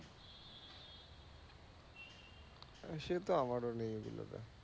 সে তো আমার ও নেই ওগুলোতে